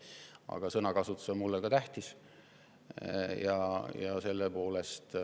Aga sõnakasutus on mulle tähtis.